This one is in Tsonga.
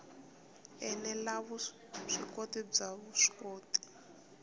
ene la vuswikoti bya vuswikoti